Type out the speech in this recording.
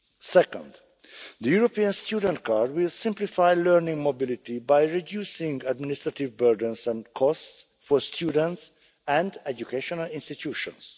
Second, the European student card will simplify learning mobility by reducing administrative burdens and costs for students and educational institutions.